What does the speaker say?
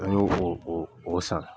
E n'o ko o o san